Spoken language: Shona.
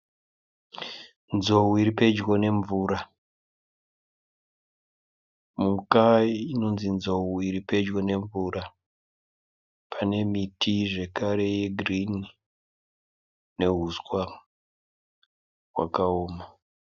Nzou iripedyo nemvura . Mhuka inonzi nzou iripedyo nemvura pane miti ye girinhi neuswa hwakaoma.